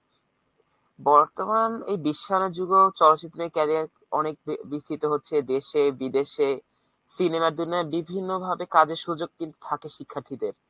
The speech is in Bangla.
বর্তমান এই বিশ্বায়নের যুগেও চলত্চিত্রের এই career অনেক বিস্তৃত হচ্ছে দেশে বিদেশে cinema র জন্য বিভিন্ন ভাবে কাজের সুযোগ কিন্তু থাকে শিক্ষার্থীদের।